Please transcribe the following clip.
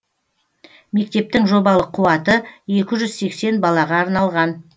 мектептің жобалық қуаты екі жүз сексен балаға арналған